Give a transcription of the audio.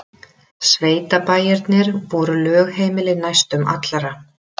Sveitabæirnir voru lögheimili næstum allra.